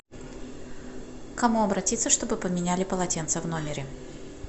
к кому обратиться чтобы поменяли полотенца в номере